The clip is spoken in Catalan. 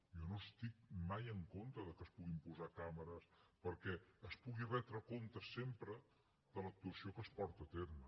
jo no estic mai en contra que es puguin posar càmeres perquè es pugui retre comptes sempre de l’actuació que es porta a terme